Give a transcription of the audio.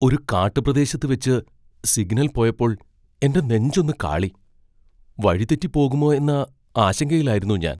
ഒരു കാട്ടുപ്രദേശത്ത് വെച്ച് സിഗ്നൽ പോയപ്പോൾ എൻ്റെ നെഞ്ചൊന്ന് കാളി. വഴിതെറ്റി പോകുമോ എന്ന ആശങ്കയിലായിരുന്നു ഞാൻ.